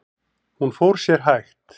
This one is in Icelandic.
Hún fór sér hægt.